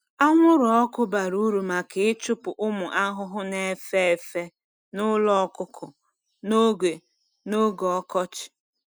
Anwụrụ ọkụ bara uru maka ịchụpụ ụmụ ahụhụ na-efe efe n’ụlọ ọkụkọ n’oge n’oge ọkọchị.